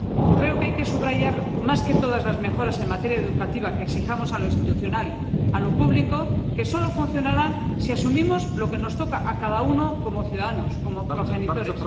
Creo que hay que subrayar más que todas las mejoras en materia educativa que exijamos a lo institucional, a lo público, solo funcionarán si asumimos lo que nos toca a cada uno como ciudadanos, como progenitores.